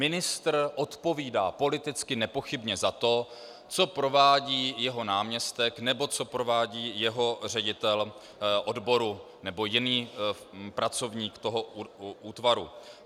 Ministr odpovídá politicky nepochybně za to, co provádí jeho náměstek nebo co provádí jeho ředitel odboru nebo jiný pracovník toho útvaru.